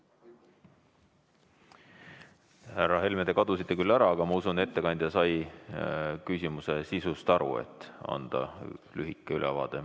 Härra Helme, te kadusite küll ära, aga ma usun, et ettekandja sai küsimuse sisust aru, et anda lühike ülevaade.